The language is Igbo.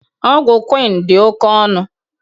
Ọgwụ Quinn dị oke ọnụ